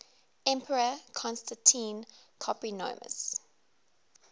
emperor constantine copronymus